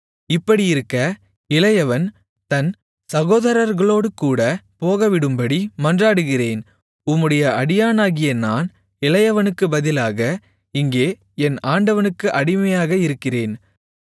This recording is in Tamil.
இப்படியிருக்க இளையவன் தன் சகோதரர்களோடுகூடப் போகவிடும்படி மன்றாடுகிறேன் உம்முடைய அடியானாகிய நான் இளையவனுக்குப் பதிலாக இங்கே என் ஆண்டவனுக்கு அடிமையாக இருக்கிறேன்